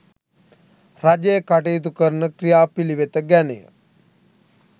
රජය කටයුතු කරන ක්‍රියාපිළිවෙත ගැනය